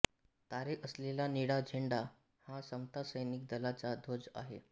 तारे असलेला निळा झेंडा हा समता सैनिक दलाचा ध्वज आहे